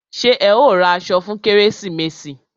Ṣé ẹ ó ra aṣọ fún kérésìmesì?